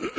Madam